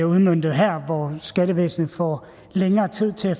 udmøntet her hvor skattevæsnet får længere tid til at